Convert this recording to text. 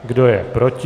Kdo je proti?